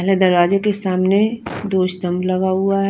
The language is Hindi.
हर दरवाज़े के सामने दो स्टाम्प लगा हुआ है।